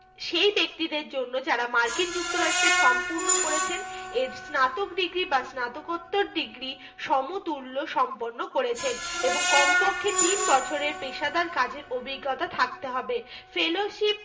সেই ব্যক্তিদের জন্য যারা মার্কিন যুক্তরাষ্ট্রে সম্পূর্ণ করেছেন এর স্নাতক degree বা স্নাকোত্তর degree সমতুল্য সম্পন্ন করেছেন। এবং কমপক্ষে তিন বছরের পেশাদার কাজের অভিজ্ঞতা থাকতে হবে। fellowship